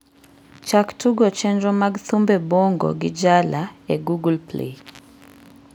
chak tugo chenro mag thumbe bongo gi jala e google play